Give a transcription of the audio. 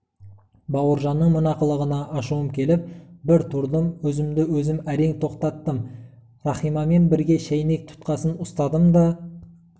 бауыржанның мына қылығына ашуым келіп бір тұрдым өзімді-өзім әрең тоқтаттым рахимамен бірге шайнек тұтқасын ұстадым да